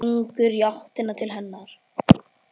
Gengur í áttina til hennar.